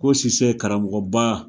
Ko Sise karamɔgɔba.